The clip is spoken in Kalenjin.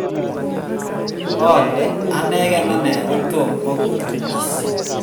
ole anagen ane ko tomo kotunis